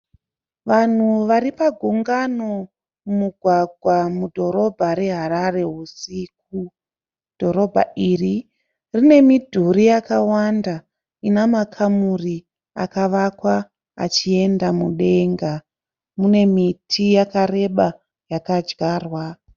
Vanhu varipagungano mumugwagwa mudhorobha reHarare husiku. Dhorobha iri rine midhuri yakawanda ina makamuri akavakwa achienda mudenga. Mune miti yakareba yakadyarwa.